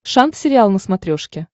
шант сериал на смотрешке